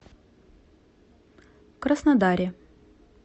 краснодаре